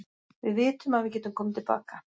Við vitum að við getum komið til baka.